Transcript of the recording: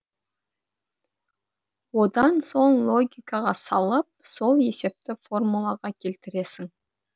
одан соң логикаға салып сол есепті формулаға келтіресің